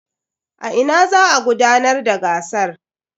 A ina za a gudanar da gasar?